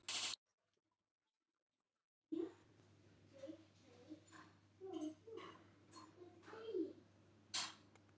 Frekara lesefni á Vísindavefnum: Hvað er átt við með samfélagssáttmála?